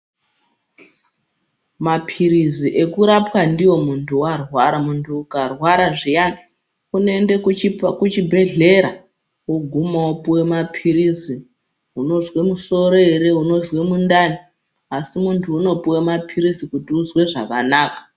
Mapirizi eku rapwa ndiwo muntu warwara muntu uka rwara zviyana uno ende ku chibhedhleya woguma wopuwa mapirizi unozwe musoro ere unozwe mundani asi muntu unopuwe mapilizi kuti uzwe zvakanaka.